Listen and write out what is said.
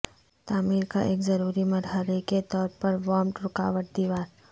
تعمیر کا ایک ضروری مرحلے کے طور پر وانپ رکاوٹ دیوار